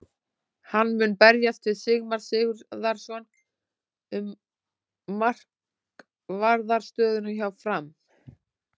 Hann mun berjast við Sigmar Sigurðarson um markvarðar stöðuna hjá Fram.